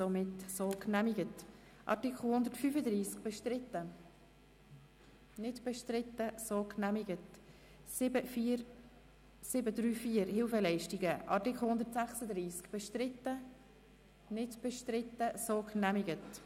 Sie haben diesen Rückweisungsantrag abgelehnt mit 109 Nein- gegen 18 Ja-Stimmen bei 5 Enthaltungen.